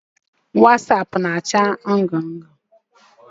Wasaapụ na-acha ndụ ndụ.